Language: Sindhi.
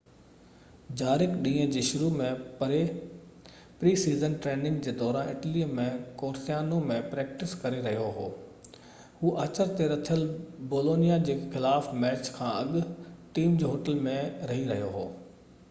جارق ڏينهن جي شروع ۾ پري-سيزن ٽريننگ جي دوران اٽلي ۾ ڪورسيانو ۾ پريڪٽس ڪري رهيو هو هو آچر تي رٿيل بولونيا جي خلاف ميچ کان اڳ ٽيم جي هوٽل ۾ رهي رهيو هو